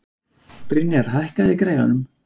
Brynjar, hækkaðu í græjunum.